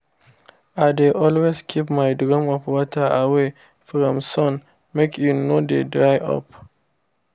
i dey always keep my drum of water away from sun make e no dey dry up